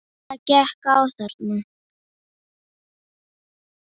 Jónki minn.